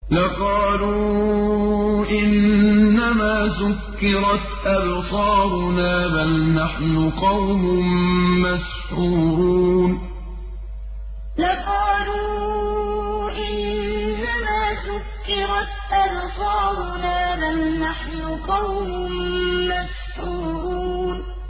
لَقَالُوا إِنَّمَا سُكِّرَتْ أَبْصَارُنَا بَلْ نَحْنُ قَوْمٌ مَّسْحُورُونَ لَقَالُوا إِنَّمَا سُكِّرَتْ أَبْصَارُنَا بَلْ نَحْنُ قَوْمٌ مَّسْحُورُونَ